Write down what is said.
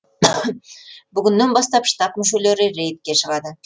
бүгіннен бастап штаб мүшелері рейдке шығады